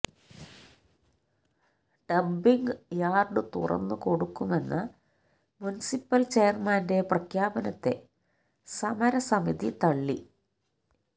dumping yard തുറന്നു കൊടുക്കുമെന്ന municipal ചെയര്മാന്റെ പ്രഖ്യാപനത്തെ സമരസമിതി തള്ളി